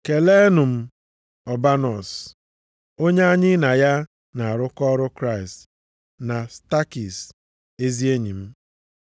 Keleenụ Ọbanọs, onye anyị na ya na-arụkọ ọrụ Kraịst, na Stakis ezi enyi m.